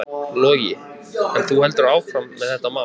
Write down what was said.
Logi: En þú heldur áfram með þetta mál?